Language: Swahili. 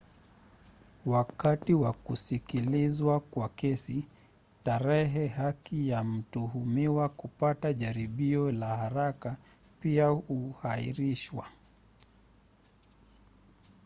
wakati wa kusikilizwa kwa kesi tarehe ya haki ya mtuhumiwa kupata jaribio la haraka pia huashiriwa